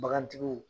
Bagantigiw